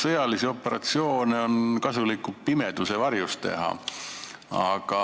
Sõjalisi operatsioone on kasulikum pimeduse varjus teha.